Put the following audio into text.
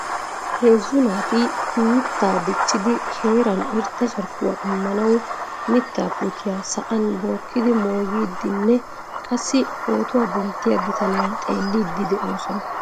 Heezzu naati mittaa dichchidi heeran irxxa carkkuwaa immanwu miittaa puutiyaa sa'an bookkidi moogidi nne qassi pootuwaa denttiyaa bitaaniyaa xeellidi de'oosona.